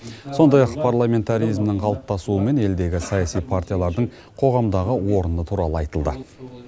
сондай ақ парламентаризмнің қалыптасуы мен елдегі саяси партиялардың қоғамдағы орны туралы айтылды